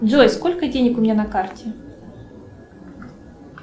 джой сколько денег у меня на карте